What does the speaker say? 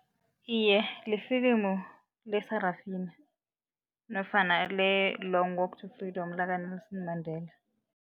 Iye, lifilimu leSarafina nofana le-Long walk to freedom lakaNelson Mandela.